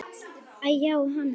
Æ-já, hann.